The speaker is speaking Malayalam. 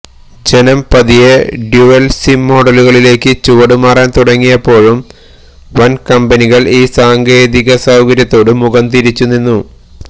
ജനം പതിയെ ഡ്യുവല് സിം മോഡലുകളിലേക്ക് ചുവടുമാറാന് തുടങ്ങിയപ്പോഴും വന്കമ്പനികള് ഈ സാങ്കേതികസൌകര്യത്തോടു മുഖം തിരിച്ചുനിന്നു